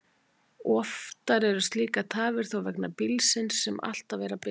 Oftar eru slíkar tafir þó vegna bílsins, sem alltaf er að bila.